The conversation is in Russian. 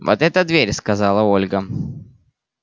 вот эта дверь сказала ольга